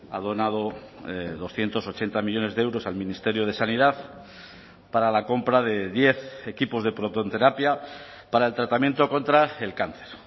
ha donado doscientos ochenta millónes de euros al ministerio de sanidad para la compra de diez equipos de protonterapia para el tratamiento contra el cáncer